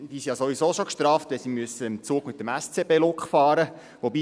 Sie sind ja sowieso schon gestraft, wenn sie im Zug mit dem SCB-Look fahren müssen.